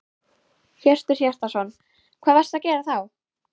Hjörtur Hjartarson: Hvað varstu að gera þá?